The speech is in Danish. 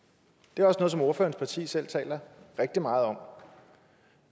det er også noget som ordførerens parti selv taler rigtig meget om